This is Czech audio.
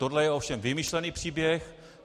Tohle je ovšem vymyšlený příběh.